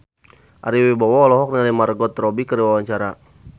Ari Wibowo olohok ningali Margot Robbie keur diwawancara